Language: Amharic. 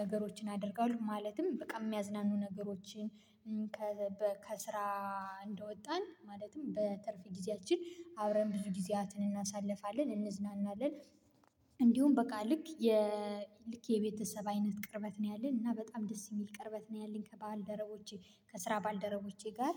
ነገሮችን አደርጋለሁ ማለትም በቃ የሚያዝናኑ ነገሮችን። ከስራ እንደወጣን ማለትም በትርፍ ጊዜያችን አብረን ብዙ ጊዜያትን እናሳልፋለን እንዝናናለን። እንዲሁም በቃ ልክ የልክ የቤተሰብ አይነት ቅርበት ነው ያለን እና በጣም ደስ የሚል ቅርበት ነው ያለን። ከባል ከባልደረቦቼ ከስራ ባልደረቦቼ ጋር